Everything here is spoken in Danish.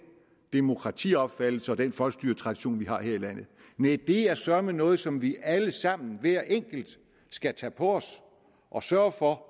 demokratiopfattelse og den folkestyretradition vi har her i landet næh det er søreme noget som vi alle sammen hver enkelt skal tage på os og sørge for